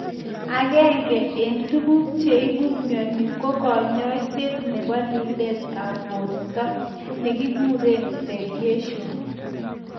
Aenge en tuguk che ibu myoni ko konyoiset nebo lilet ab borto nekikuren radiation